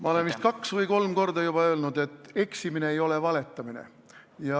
Ma olen vist juba kaks või kolm korda öelnud, et eksimine ei ole valetamine.